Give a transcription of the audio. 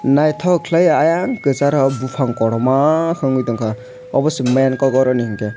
naithok khlaiui ayang kwcharo buphang kotorma ungoi tongkha abose main kok aroni hwnkhe.